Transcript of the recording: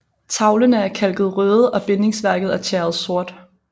Tavlene er kalket røde og bindingsværket er tjæret sort